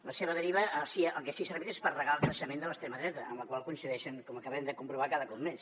la seva deriva el que sí que ha servit és per regar el creixement de l’extrema dreta amb la qual coincideixen com acabem de comprovar cada cop més